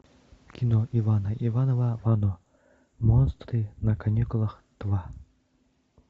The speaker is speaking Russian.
кино ивана иванова вано монстры на каникулах два